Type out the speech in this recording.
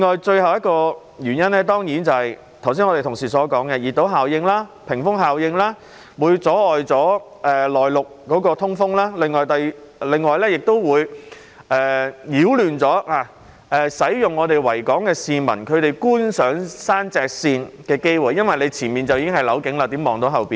最後一個原因當然是正如我的同事剛才所說，熱島和屏風效應會阻礙內陸的通風，亦會阻礙市民在維多利亞港觀賞山脊線的機會，因為前方已是樓景，怎能看到後方呢？